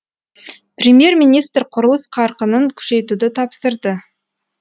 премьер министр құрылыс қарқынын күшейтуді тапсырды